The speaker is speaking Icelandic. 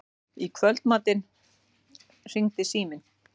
Í kvöldmatnum hringdi síminn.